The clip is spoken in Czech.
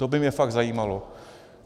To by mě fakt zajímalo.